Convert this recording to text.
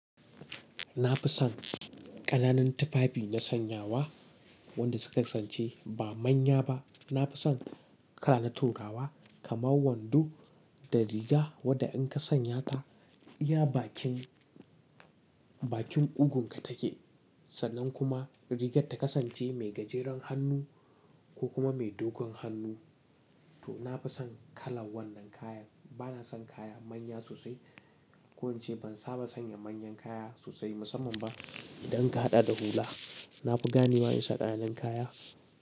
Na fi son ƙananan tufafi na sanyawa wanda suka kasance ba manya ba. Na fi son kala na turawa kamar wando da riga wadda in ka sanya ta, ya bakin, bakin kugun ka take sannan kuma rigar ta kasance mai gajeren hannu ko kuma mai dogon hannu. To na fi son kalan wannan kayan. Bana son kaya manya sosai ko in ce ban saba sanya manyan kaya sosai musamman ba idan ka haɗa da hula. Na fi ganewa in saka ƙananan kaya.